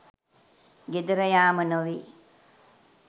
ගෙදර යාම නොවේ